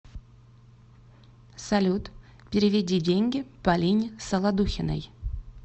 салют переведи деньги полине солодухиной